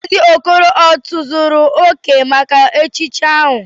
Mazi okoro o tozuru oke maka echichi ahu?